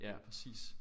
Ja præcis